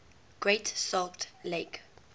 great salt lake